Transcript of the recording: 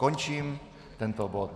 Končím tento bod.